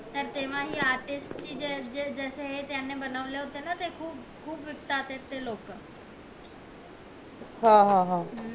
तर ते तेव्हा हे artist जे ज्याने हे बनवलं होत ना त ते खूप खूप विकतात